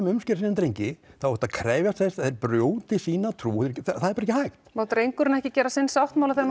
umskera sig sem drengi ertu að krefjast þess að þeir brjóti sína trú og það er bara ekki hægt Má drengurinn ekki gera sinn sáttmála þegar